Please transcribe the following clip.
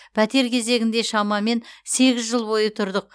пәтер кезегінде шамамен сегіз жыл бойы тұрдық